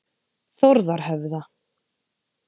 Þórðarhöfða